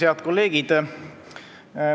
Head kolleegid!